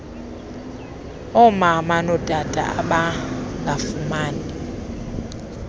omama notata abangafumani